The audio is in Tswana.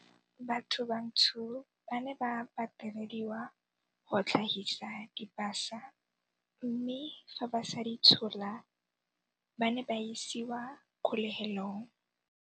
Batho bantsho ba ne ba patelediwa go tlhagisa dipasa mme fa ba sa di tshola, ba ne ba isiwa kgolegelong.